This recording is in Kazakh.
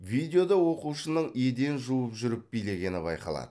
видеода оқушының еден жуып жүріп билегені байқалады